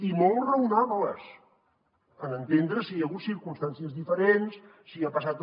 i molt raonables en entendre si hi ha hagut circumstàncies diferents si ha passat